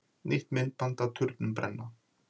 Nýtt myndband af turnunum brenna